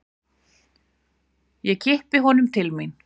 Ég kippi honum til mín.